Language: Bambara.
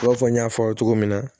I b'a fɔ n y'a fɔ cogo min na